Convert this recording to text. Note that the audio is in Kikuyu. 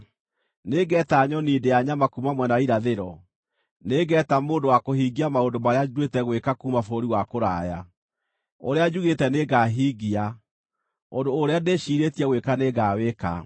Nĩngeeta nyoni ndĩa nyama kuuma mwena wa irathĩro; nĩngeeta mũndũ wa kũhingia maũndũ marĩa nduĩte gwĩka kuuma bũrũri wa kũraya. Ũrĩa njugĩte nĩngahingia; ũndũ ũrĩa ndĩciirĩtie gwĩka nĩngawĩka.